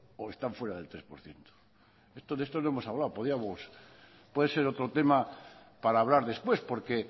o están fuera del tres por ciento de esto no hemos hablado podíamos puede ser otro tema para hablar después porque